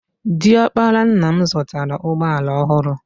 Di ọkpara nna m zụtara ụgbọala ọhụrụ.